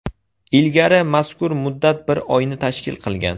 Ilgari mazkur muddat bir oyni tashkil qilgan.